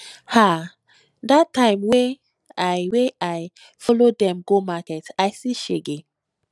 ah dat time wey i wey i follow dem go market i see shege